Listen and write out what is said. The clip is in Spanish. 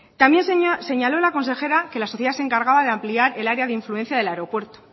también señaló la consejera que la sociedad se encargaba de ampliar el área de influencia del aeropuerto